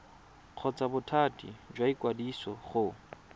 kgotsa bothati jwa ikwadiso go